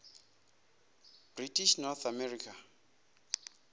british north america